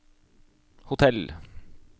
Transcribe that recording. hotell